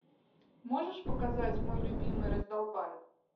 можешь показать мой любимый раздолбай